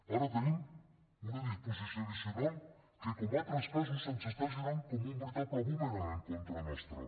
ara tenim una disposició addicional que com en altres casos se’ns està girant com un veritable bumerang en contra nostra